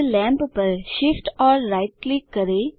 अब लेम्प पर Shift और राइट क्लिक करें